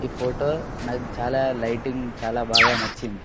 ఈ ఫోటో చాలా లైటింగు చాలా బాగా నచ్చింది.